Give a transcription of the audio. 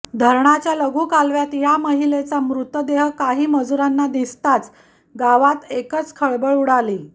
धरणाच्या लघु कालव्यात या महिलेचा मृतदेह काही मजुरांना दिसताच गावात एकच खळबळ उडाली